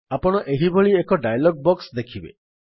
ଆପଣ ଏହିଭଳି ଏକ ଡାୟଲଗ୍ ବକ୍ସ ଦେଖିବେ